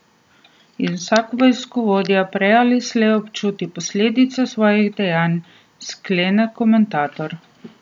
In vsak vojskovodja prej ali slej občuti posledice svojih dejanj, sklene komentator.